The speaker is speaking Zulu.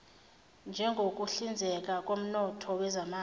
njengokuhlinzeka koomthetho wezamafa